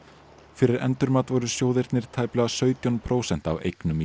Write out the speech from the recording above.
fyrir endurmat voru sjóðirnir tæplega sautján prósent af eignum í